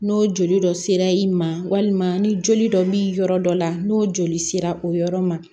N'o joli dɔ sera i ma walima ni joli dɔ b'i yɔrɔ dɔ la n'o joli sera o yɔrɔ ma